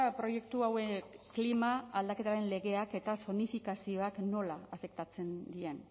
proiektu hauek klima aldaketaren legeak eta zonifikazioak nola afektatzen dien